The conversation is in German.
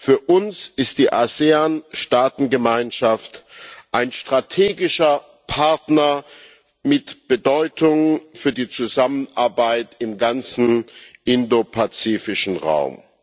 Für uns ist die ASEAN Staatengemeinschaft ein strategischer Partner mit Bedeutung für die Zusammenarbeit im ganzen indopazifischen Raum.